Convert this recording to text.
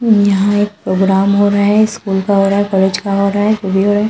यहां एक प्रोग्राम हो रहा है स्कूल का हो रहा है कॉलेज का हो रहा है रहा--